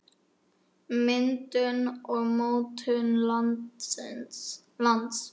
Myndun og mótun lands